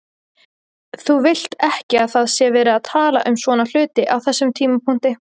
Þú vilt ekki að það sé verið að tala um svona hluti á þessum tímapunkti.